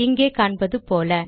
இங்கே காண்பது போல